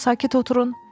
Sakit oturun.